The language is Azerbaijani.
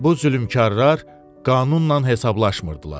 Bu zülmkarlar qanunla hesablaşmırdılar.